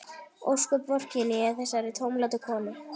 Ósköp vorkenni ég þessari tómlátu konu.